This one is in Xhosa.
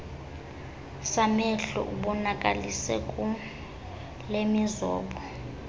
samehlo ubonakalise kulemizobo